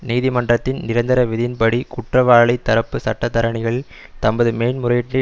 நீதிமன்றத்தின் நிரந்தர விதியின்படி குற்றவாளித் தரப்பு சட்டத்தரணிகள் தமது மேன்முறையீட்டை